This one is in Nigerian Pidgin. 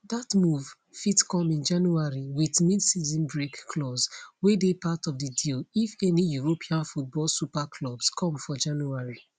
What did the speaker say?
dat move fit come in january wit midseason break clause wey dey part of di deal if any european football super clubs come for january